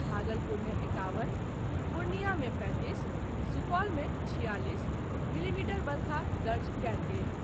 भागलपुर मे एकावन, पूर्णियां मे पैंतीस, सुपौल मे छियालीस, मिलीमीटर वर्षा दर्ज कयल गेल।